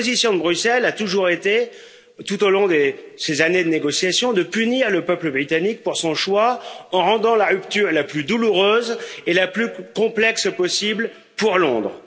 La position de Bruxelles a toujours été, tout au long de ces années de négociations, de punir le peuple britannique pour son choix en rendant la rupture la plus douloureuse et la plus complexe possible pour Londres.